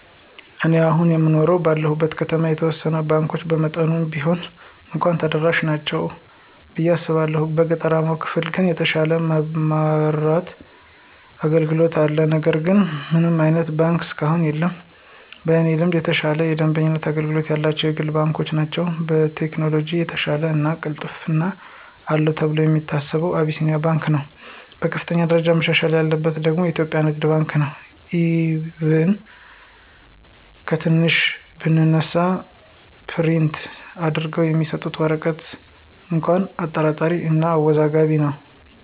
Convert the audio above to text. እኔ አሁን አየኖርሁ ባለሁበት ከተማ የተወሰኑት ባንኮች በመጠኑም ቢሆን እንኳ ተደራሽ ናቸው ብየ አስባለሁ። በገጠራማው ክፍል ግን የተሻለ የማብራት አገልግሎት አለ ነገር ግን ምንም አይነት ባንክ እስካሁን የለም። በእኔ ልምድ የተሻለ የደንበኞች አገልግሎት ያላቸው የግል ባንኮች ናቸው። በቴክኖሎጅ የተሻለው እና ቅልጥፍና አለው ተብሎ የሚታሰበው አቢሲንያ ባንክ ነው። በከፍተኛ ደረጃ መሻሻል ያለበት ደግሞ ኢትዮጵያ ንግድ ባንክ ነው፤ ኢቭን ከትንሿ ብንነሳ ፕሪንት አድርገው የሚሰጡት ወረቀት እንኳ አጠራጣሪ እና አወዛጋቢ ነው።